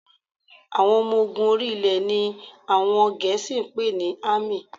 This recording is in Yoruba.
Àwọn ọmọ ogun orí-ilẹ̀ ni àwọn Gẹ̀ẹ́sì ń pè ní Army